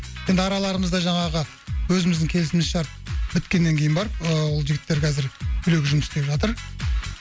енді араларымызда жаңағы өзіміздің келісім шарт біткеннен кейін барып ыыы ол жігіттер қазір біреуге жұмыс істеп жатыр